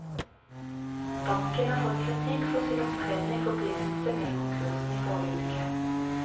Banken har fått kritikk for sin opptreden i forbindelse med konkursen i forrige uke.